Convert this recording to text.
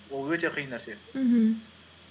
ол өте қиын нәрсе мхм